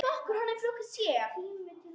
Hún kunni að vera ung.